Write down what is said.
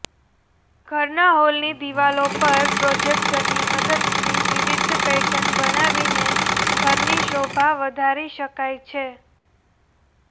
ઘરના હોલની દીવાલો પર પ્રોજેક્ટરની મદદથી વિવિધ પેટર્ન બનાવીને ઘરની શોભા વધારી શકાય છે